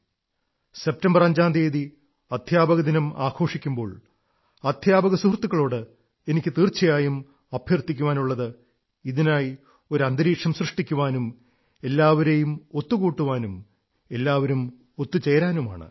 5 സെപ്റ്റംബറിന് അധ്യാപക ദിനം ആഘോഷിക്കുമ്പോൾ അധ്യാപക സുഹൃത്തുക്കളോട് എനിക്ക് തീർച്ചയായും അഭ്യർഥിക്കാനുള്ളത് ഇതിനായി ഒരു അന്തരീക്ഷം സൃഷ്ടിക്കാനും എല്ലാവരെയും ഒത്തുകൂട്ടാനും എല്ലാവരും ഒത്തു ചേരാനുമാണ്